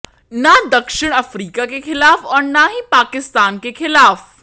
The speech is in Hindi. न दक्षिण अफ्रीका के खिलाफ और न ही पाकिस्तान के खिलाफ